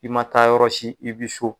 I ma taa yɔrɔ si, i bi so.